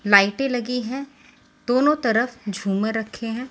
लाइटें लगी हैं दोनों तरफ झूमर रखे हैं।